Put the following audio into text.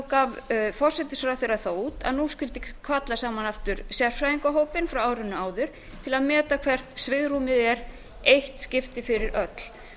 gaf forsætisráðherra það út að nú skyldi kalla aftur saman sérfræðingahópinn frá árinu áður til að meta hvert svigrúmið væri í eitt skipti fyrir öll